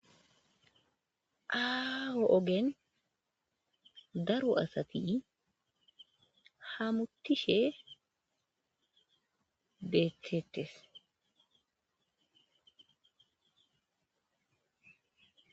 aaho ogen daro asati hamuttishe beettettes.